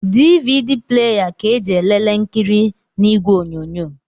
DVD pleya ka eji elelee nkiri na ìgwè onyonyo.